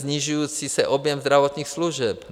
Snižující se objem zdravotních služeb.